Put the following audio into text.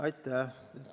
Aitäh!